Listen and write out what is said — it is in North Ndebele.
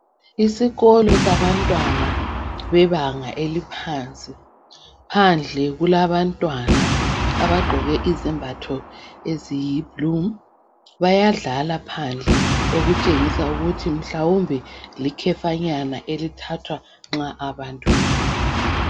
Isikolo sabantwana bebanga eliphansi. Phandle kulabantwana abagqoke izembatho eziyi"blue".Bayadlala phandle okutshengisa ukuthi mhlawumbe likhefanyana elithathwa nxa abantu befuna.